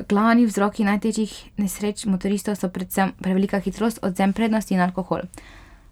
Glavni vzroki najtežjih nesreč motoristov so predvsem prevelika hitrost, odvzem prednosti in alkohol.